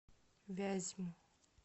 вязьму